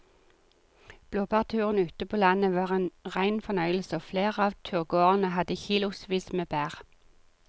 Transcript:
Blåbærturen ute på landet var en rein fornøyelse og flere av turgåerene hadde kilosvis med bær.